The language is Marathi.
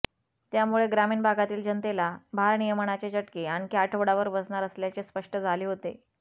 त्यामुळे ग्रामीण भागातील जनतेला भारनियमनाचे चटके आणखी आठवडाभर बसणार असल्याचे स्पष्ट झाले होते